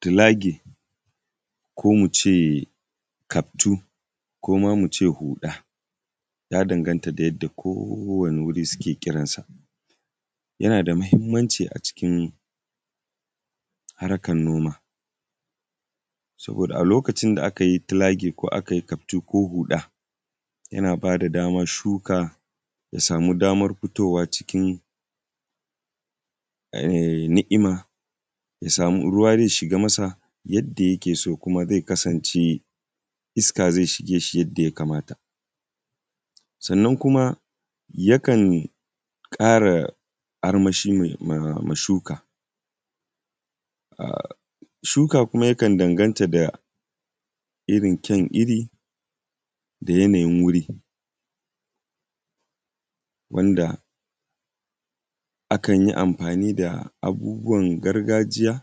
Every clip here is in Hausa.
ko kuma su zo suna zamantakewa wacce za su na wasanni kusa da gida. Yawanci wannan yara suna zama abokai ne tun daga karancin lokaci, wanda yawanci makabtan juna ne gidajensu na kusa da juna suna fitowa lokacin da babu karatu ko babu aiki suna wasanni kala-kala daban-daban. Shuka kuma yakan danganta da irin ƙyaun iri da yanayin wuri wanda akan yi amfani da abubuwan gargajiya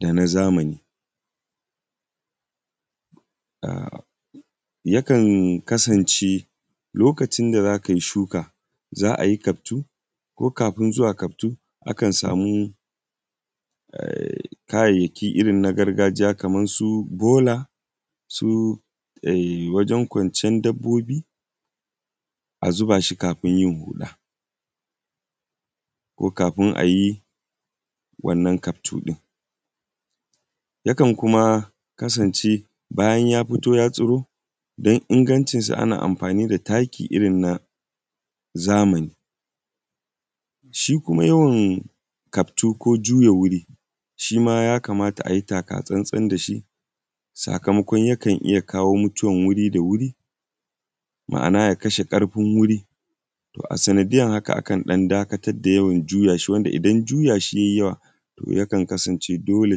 da na zamani. Yakan kasance lokacin da za ka yi shuka akwai kaftu ko kafin zuwa kaftu kayayyaki irin na gargajiya kamar su balo ko wajen kwanciyar dabbobi a zuba shi kafin yin huɗa. Ko kafin a yi wannan kaftu ɗin. Yakan kasance bayan ya fito ya tsiro din ingancinsu ana amfani da takiirin na zamani, shi kuma yawan kaftu ko juya wuri shi ma ya kamata a yi taka tsantsan da shi. Sakamakon yaka iya kawo mutuwar guri da wuri da shi, ma'ana ya kashe ƙarfi wuri, to a sanadiyar haka akan dan dakatar da yawan juya shi. Yakan kasan ce dole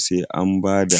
sai an ba da